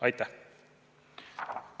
Aitäh!